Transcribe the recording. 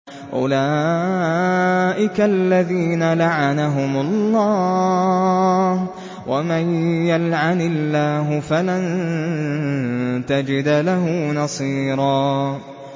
أُولَٰئِكَ الَّذِينَ لَعَنَهُمُ اللَّهُ ۖ وَمَن يَلْعَنِ اللَّهُ فَلَن تَجِدَ لَهُ نَصِيرًا